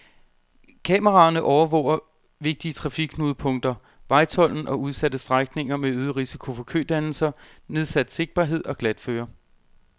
Kameraerne overvåger vigtige trafikknudepunkter, vejtolden og udsatte strækninger med øget risiko for kødannelser, nedsat sigtbarhed og glatføre.